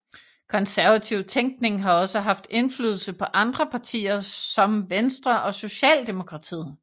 Konservativ tænkning har også haft indflydelse på andre partier som Venstre og Socialdemokratiet